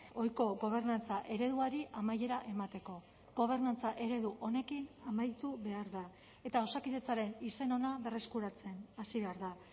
ohiko gobernantza ereduari amaiera emateko gobernantza eredu honekin amaitu behar da eta osakidetzaren izen ona berreskuratzen hasi behar da